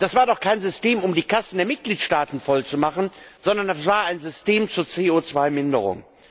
Das war doch kein System, um die Kassen der Mitgliedstaaten voll zu machen, sondern das war ein System zur CO Minderung.